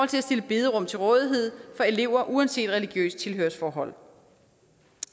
til at stille bederum til rådighed for elever uanset religiøst tilhørsforhold